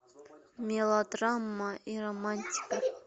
мелодрама и романтика